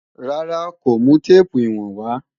Rárá, kò mú téèpù ìwọ̀n wá